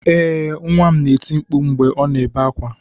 Ee nwa m na-eti mkpu mgbe ọ na-ebe akwa